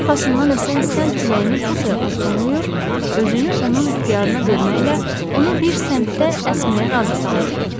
O arxasından əsən sənd küləyini bu sayğıyla ovsunlayır, özünü onun ixtiyarına verməklə onu bir səmtdən əsməyə razı salırdı.